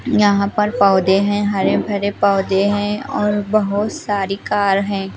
यहां पर पौधे हैं हरे भरे पौधे हैं और बहोत सारी कार हैं।